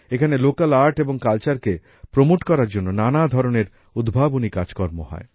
এখানে local art এবং কালচারকে প্রমোট করার জন্য নানা ধরনের উদ্ভাবনী কাজকর্ম হয়